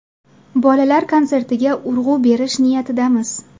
Bolalar konsertiga urg‘u berish niyatidamiz.